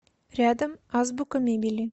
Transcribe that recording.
рядом азбука мебели